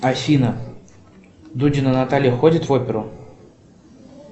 афина дудина наталья ходит в оперу